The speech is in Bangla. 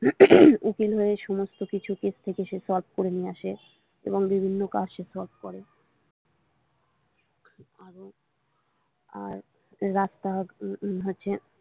উম উকিল হয়ে সমস্ত কিছু কেশ থেকে সে solve করে নিয়ে আসে এবং বিভিন্ন কাজ সে solve করে আরও আর রাস্তাগ হচ্ছে।